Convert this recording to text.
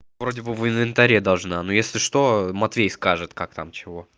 вроде бы в инвентаре должна ну если что матвей скажет как там чего